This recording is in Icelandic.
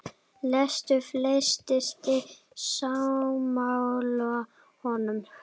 Lýstu flestir sig sammála honum.